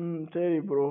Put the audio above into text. உம் சரி bro